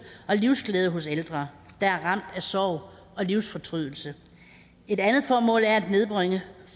og livsglæde hos ældre der er ramt af sorg og livsfortrydelse et andet formål er at nedbringe